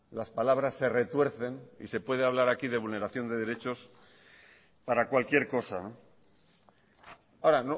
las palabras se retuercen y se puede hablar aquí de vulneración de derechos para cualquier cosa ahora